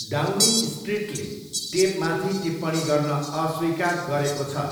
डाउनिङस्ट्रिटले टेपमाथि टिप्पणी गर्न अस्वीकार गरेको छ।